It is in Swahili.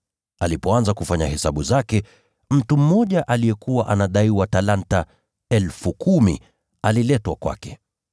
Alipoanza kufanya hesabu zake, mtu mmoja aliyekuwa anadaiwa talanta 10,000, aliletwa kwake.